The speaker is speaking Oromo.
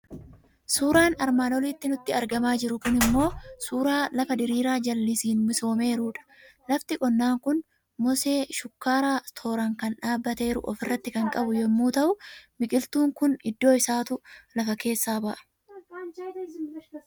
Suuraan armaan olitti nutti argamaa jiru kuni immoo suuraa lafa dirìiraa jallisiin misoomeerudha. Lafti qonnaa kun mosee shukkaaraa tooraan kan dhaabbateeru ofirraa kan qabu yommuu ta'u, biqiltuun kun hidda isaatu lafa keessaa ba'a.